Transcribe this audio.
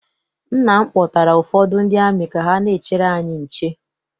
Nna m kpọtara ụfọdụ ndị amị ka ha n'echere anyị nche.